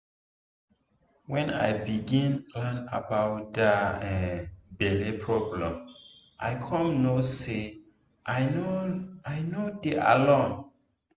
when i begin learn about that um belle problem i come know say i no i no dey alone